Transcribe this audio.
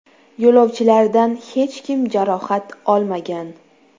Yo‘lovchilardan hech kim jarohat olmagan.